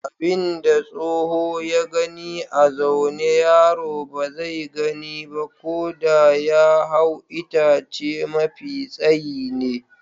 Abin da tsoho ya gani a zaune yaro ba zai gani ba ko da ya hau itace mafi tsayi ne.